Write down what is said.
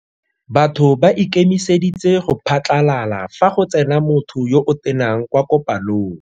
Batho ba ikemeseditse go phatlalala fa go tsena motho yo o tenang kwa kopanong.